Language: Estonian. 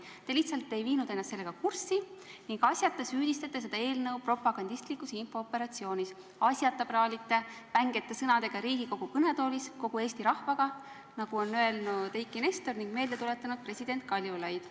Te lihtsalt ei viinud ennast sellega kurssi ning asjata süüdistate seda eelnõu propagandistlikus infooperatsioonis, asjata praalite Riigikogu kõnetoolis vängeid sõnu kasutades kogu Eesti rahvaga, nagu on öelnud Eiki Nestor ning meelde tuletanud president Kaljulaid.